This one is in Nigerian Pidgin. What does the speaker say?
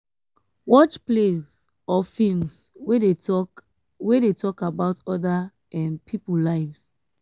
watch plays or films wey dey talk wey dey talk about oda um pipo lives